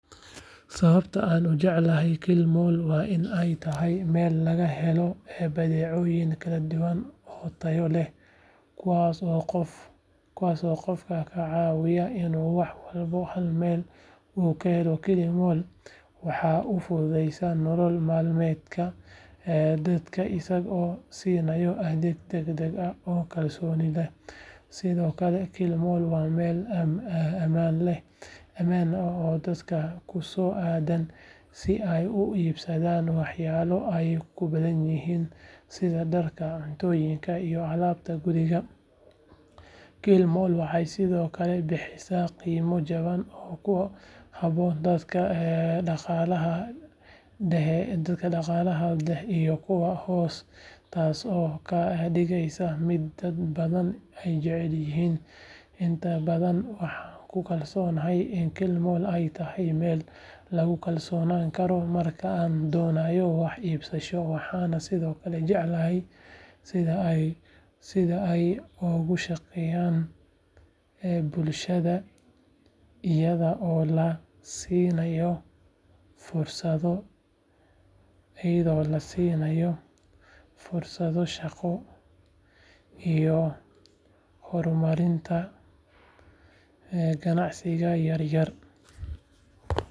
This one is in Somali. Sababta aan u jeclahay killmall waa in ay tahay meel laga helo badeecooyin kala duwan oo tayo leh kuwaas oo qofka ka caawinaya inuu wax walba hal meel ku helo killmall waxa uu fududeeyaa nolol maalmeedka dadka isagoo siinaya adeeg degdeg ah oo kalsooni leh sidoo kale killmall waa meel ammaan ah oo dadka ku soo aadaan si ay u iibsadaan waxyaabo ay u baahan yihiin sida dharka, cuntooyinka iyo alaabta guriga killmall waxay sidoo kale bixisaa qiimo jaban oo ku habboon dadka dhaqaalaha dhexe iyo kuwa hoose taasoo ka dhigaysa mid dad badan ay jecel yihiin inta badan waxaan ku kalsoonahay in killmall ay tahay meel lagu kalsoonaan karo marka la doonayo wax iibsasho waxaana sidoo kale jecelahay sida ay uga shaqeyso bulshada iyada oo la siinayo fursado shaqo iyo horumarinta ganacsiyada yaryar.